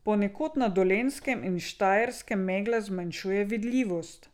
Ponekod na Dolenjskem in Štajerskem megla zmanjšuje vidljivost.